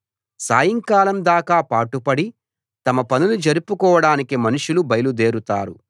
సాయంకాలం దాకా పాటుపడి తమ పనులు జరుపుకోడానికి మనుషులు బయలుదేరుతారు